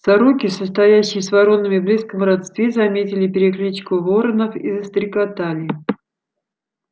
сороки состоящие с воронами в близком родстве заметили перекличку воронов и застрекотали